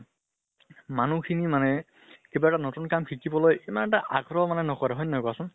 মানুহ খিনি মানে কিবা এটা নতুন কাম শিকিবলৈ ইমান এটা আগ্ৰহ মানে নকৰে হয় নে নহয় কোৱা চোন?